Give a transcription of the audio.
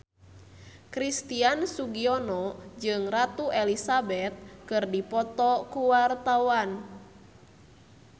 Christian Sugiono jeung Ratu Elizabeth keur dipoto ku wartawan